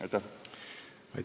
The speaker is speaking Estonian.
Aitäh!